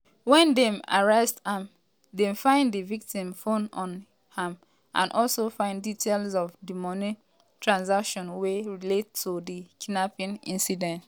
wen dem arrest am dem find di victim phone on am and also find details of di money transation wey relate to di kidnapping incident.